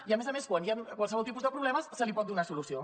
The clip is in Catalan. i a més a més quan hi ha qualsevol tipus de problemes se’ls pot donar solució